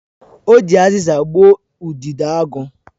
O ji aziza gbuo udidoagu